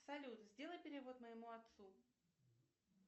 салют сделай перевод моему отцу